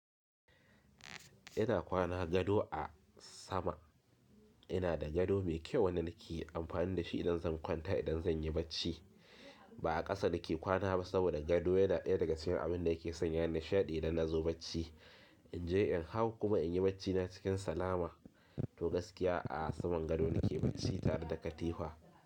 Ina kwana gado a sama, ina da gado mai kyau wanda nake amfani da shi idan zan kwanta idan zan yi bacci. Ba a ƙasa nake kwana ba saboda gado yana ɗaya daga cikin abin da yake sanya nishaɗi idan na zo bacci. In je in hau kuma in yi bacci na cikin salama to gaskiya a saman gado nake bacci tare da katifa.